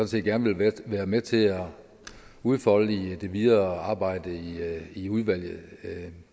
set gerne vil være med til at udfolde i det videre arbejde i udvalget det